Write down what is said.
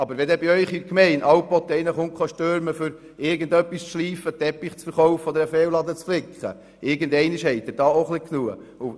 Wenn bei Ihnen in der Gemeinde ständig jemand ankommt, um etwas zu schleifen, Ihnen einen Teppich zu verkaufen oder um einen Fensterladen zu reparieren, dann haben Sie irgendwann genug davon.